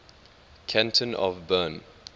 canton of bern